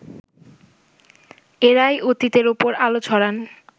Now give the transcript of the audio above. এঁরাই অতীতের ওপর আলো ছড়ান